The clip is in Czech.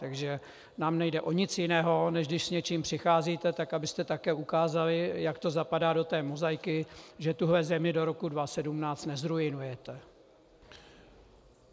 Takže nám nejde o nic jiného, než když s něčím přicházíte, tak abyste také ukázali, jak to zapadá do té mozaiky, že tuhle zemi do roku 2017 nezruinujete.